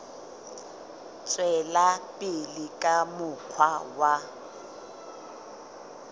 tswela pele ka mokgwa wa